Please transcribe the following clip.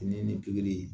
Ni ni pikiri